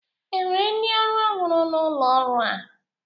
E nwere ndị ọrụ ọhụrụ n'ụlo ọrụ a?